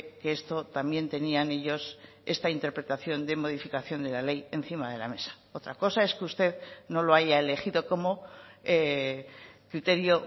que esto también tenían ellos esta interpretación de modificación de la ley encima de la mesa otra cosa es que usted no lo haya elegido como criterio